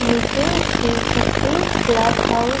नीचे Shiv Shakti cloth house --